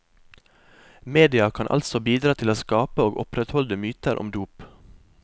Media kan altså bidra til å skape og opprettholde myter om dop.